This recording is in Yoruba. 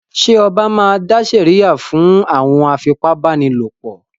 Ṣẹ ọba máa dá sèríà fún àwọn afipábánilòpọ̀?